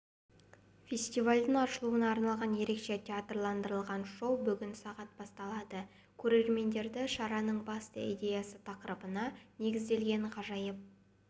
фестивальдің ашылуына арналған ерекше театрландырылған шоу бүгін сағат басталады көрермендерді шараның басты идеясы тақырыбына негізделген ғажайып